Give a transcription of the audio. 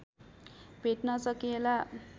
भेट्न सकिएला